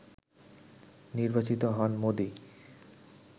নির্বাচিত হন মোদি